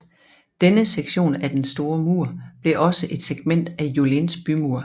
Denne sektion af Den store mur blev også et segment af Yulins bymur